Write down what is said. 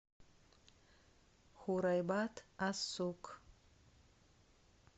хурайбат ас сук